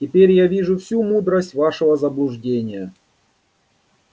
теперь я вижу всю мудрость вашего заблуждения